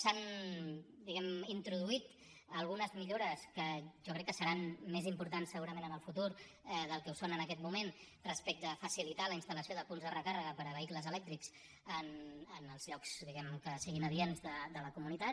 s’hi han introduït algunes millores que jo crec que se ran més importants segurament en el futur del que ho són en aquest moment respecte a facilitar la installació de punts de recàrrega per a vehicles elèctrics en els llocs que siguin adients de la comunitat